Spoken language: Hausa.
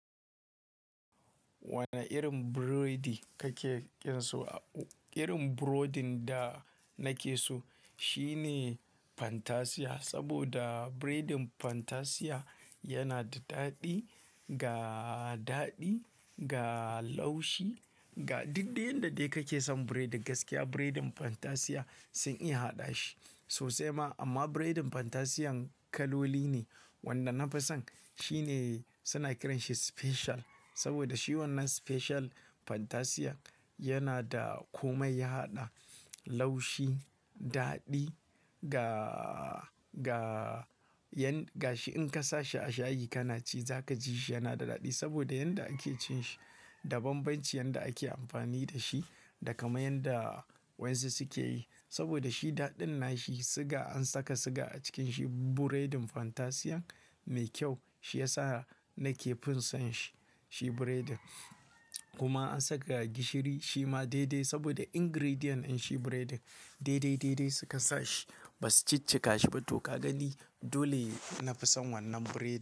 Wane irin burodi kake ƙin so? Irin burodin da nake so shine Fantasia. Saboda biredin Fantasia yana da daɗi, ga daɗi, ga laushi, ga duk dai yanda dai kake son biredi gaskiya biredin Fantasia sun iya haɗa shi. Sosai ma amma biredin Fantasian kaloli ne, wanda nafi son shine suna kiran shi special. Saboda shi wannan special Fantasia yana da komai, ya haɗa laushi, daɗi ga, ga yan, ga shi in ka sa shi a shayi kana ci zaka ji shi yana da daɗi. Saboda yanda ake cin shi, da banbanci yanda ake amfani da shi, da kamar yanda waƴansu suke yi. Saboda shi daɗin na shi, siga, an saka siga a cikin shi. Buredin Fantasian mai kyau shi yasa nake fin son shi, shi biredin. Kuma an saka gishiri shi ma daidai saboda ingredient ɗin shi biredin daidai, daidai suka sa shi ba su ciccika shi ba. To ka gani dole nafi son wannan biredin.